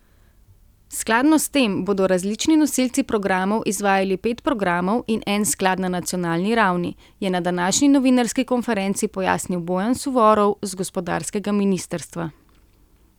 Skladno s tem bodo različni nosilci programov izvajali pet programov in en sklad na nacionalni ravni, je na današnji novinarski konferenci pojasnil Bojan Suvorov z gospodarskega ministrstva.